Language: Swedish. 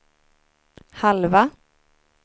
halva